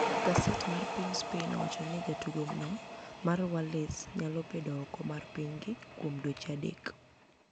Gaset mar piniy Spaini owacho nii jatugo no ma wales niyalo bedo oko mar piniygi kuom dweche adek.